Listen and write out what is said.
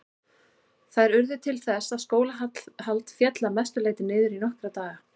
Þær urðu til þess að skólahald féll að mestu leyti niður í nokkra daga.